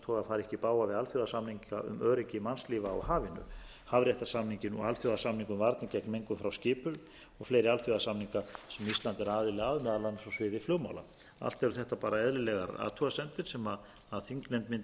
ekki í bága við alþjóðasamninga um öryggi mannslífa á hafinu hafréttarsamninginn og alþjóðasamning um mengun frá skipum og fleiri alþjóðasamninga sem ísland er aðili að meðal annars á sviði flugmála allt eru þetta bara eðlilegar athugasemdir sem þingnefnd mundi að sjálfsögðu taka til frekari skoðunar utanríkisráðuneytið veitti